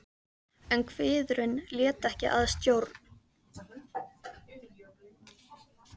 En kviðurinn lét ekki að stjórn.